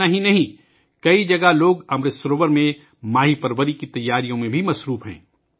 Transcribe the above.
یہی نہیں، کئی جگہوں پر لوگ امرت سروور میں ماہی پروری کی تیاریوں میں بھی لگے ہوئے ہیں